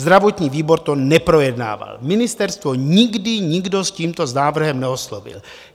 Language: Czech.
Zdravotní výbor to neprojednával, ministerstvo nikdy nikdo s tímto návrhem neoslovil.